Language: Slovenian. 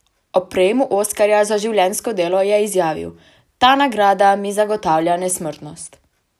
Ob prejemu oskarja za življenjsko delo je izjavil: "Ta nagrada mi zagotavlja nesmrtnost.